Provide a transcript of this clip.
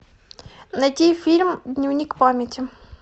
найти фильм дневник памяти